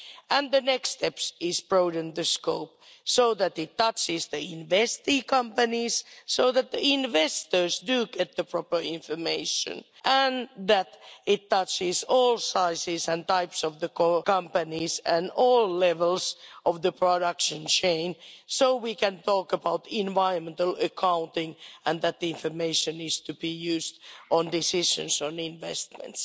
And the next step is to broaden the scope, so that it touches the investing companies so that the investors do get the proper information, and that it touches all sizes and types of companies and all levels of the production chain, so we can talk about environmental accounting and that the information needs to be used on decisions on investments.